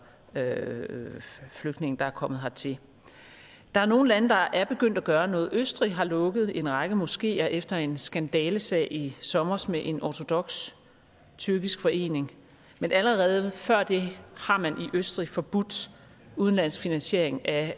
flygtninge der er kommet hertil der er nogle lande der er begyndt at gøre noget østrig har lukket en række moskeer efter en skandalesag i sommer med en ortodoks tyrkisk forening men allerede før det har man i østrig forbudt udenlandsk finansiering af